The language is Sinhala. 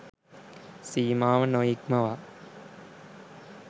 සීමාව නොඉක්මවා